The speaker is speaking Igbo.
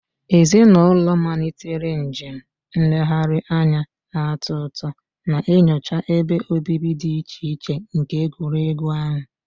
Ezinụlọ malitere njem nlegharị anya na-atọ ụtọ, na-enyocha ebe obibi dị iche iche nke egwuregwu ahụ.